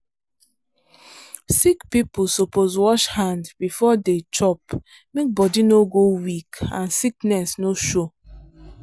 sick people suppose wash hand before dey chop make body no go weak and sickness no show.